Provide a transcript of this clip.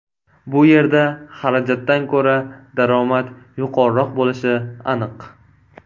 Bu yerda xarajatdan ko‘ra daromad yuqoriroq bo‘lishi aniq.